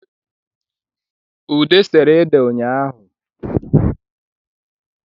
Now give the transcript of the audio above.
Ude sere ede nyahụ